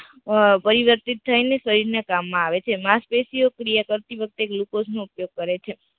અમ પરિવર્તિત થઇ ને શરીર ના કામ માં આવે છે, માંસપેશી ઓ ક્રિયા કરતી વખતે ગ્લુકોઝ નો ઉપયોગ કરે છે